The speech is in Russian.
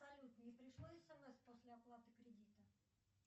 салют не пришло смс после оплаты кредита